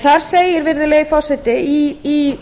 þar segir virðulegi forseti í